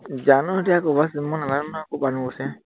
জানো এতিয়া কৰ পা আনিবলগৈছে, মই নাজানো নহয় কৰ পৰা আনিব গৈছে